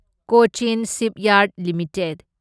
Cochin shipyard limited